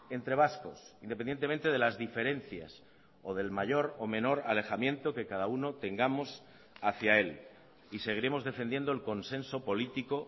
entre vascos independientemente de las diferencias o del mayor o menor alejamiento que cada uno tengamos hacía él y seguiremos defendiendo el consenso político